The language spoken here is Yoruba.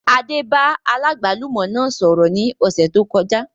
Adé bá aláàgbálùmọ́ náà sọ̀rọ̀ ní ọ̀sẹ̀ tó kọjá